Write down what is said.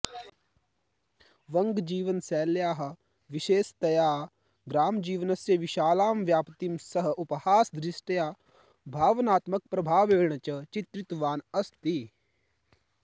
वङ्गजीवनशैल्याः विशेषतया ग्रामजीवनस्य विशालां व्याप्तिं सः उपहासदृष्ट्या भावनात्मकप्रभावेण च चित्रितवान् अस्ति